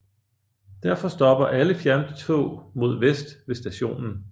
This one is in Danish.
Derfor stopper alle fjerntog mod vest ved stationen